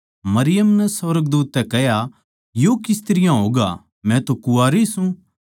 मरियम नै सुर्गदूत तै कह्या यो किस तरियां होगा मै तो कुँवारी सूं